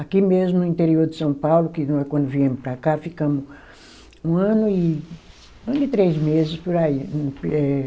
Aqui mesmo, no interior de São Paulo, que quando viemos para cá, ficamos um ano e, um ano e três meses por aí. Eh